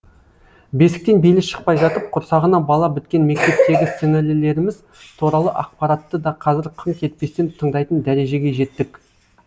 бесіктен белі шықпай жатып құрсағына бала біткен мектептегі сіңілілеріміз туралы ақпаратты да қазір қынқ етпестен тыңдайтын дәрежеге жеттік